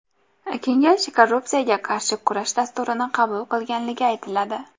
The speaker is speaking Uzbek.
Kengash korrupsiyaga qarshi kurash dasturini qabul qilganligi aytiladi.